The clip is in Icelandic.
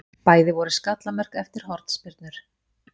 Bæði voru skallamörk eftir hornspyrnur.